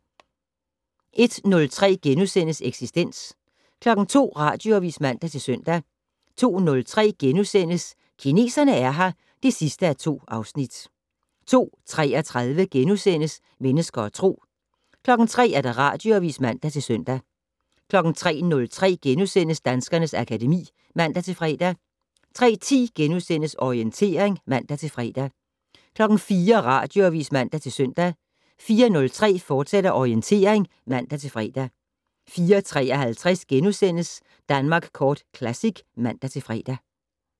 01:03: Eksistens * 02:00: Radioavis (man-søn) 02:03: Kineserne er her (2:2)* 02:33: Mennesker og Tro * 03:00: Radioavis (man-søn) 03:03: Danskernes akademi *(man-fre) 03:10: Orientering *(man-fre) 04:00: Radioavis (man-søn) 04:03: Orientering, fortsat (man-fre) 04:53: Danmark Kort Classic *(man-fre)